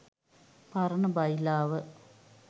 පරණ බයිලාව.